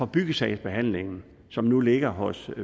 byggesagsbehandling som nu ligger hos